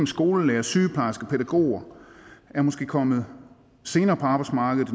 skolelærere sygeplejersker pædagoger er måske kommet senere på arbejdsmarkedet